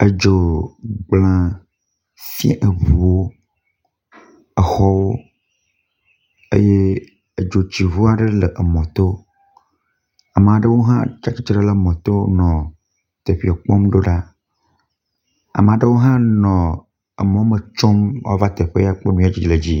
Edzo gblẽ fia eŋuwo, exɔwo eye edzotsiŋua ɖe hã le emɔ to. Ame aɖewo hã tsi atsitre ɖe emɔ to nɔ teƒee kpɔm do ɖa. Ame aɖewo hã nɔ emɔ me tsom woava kpɔ teƒee nu yi le edzi yim.